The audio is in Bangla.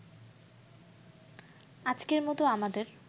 আজকের মতো আমাদের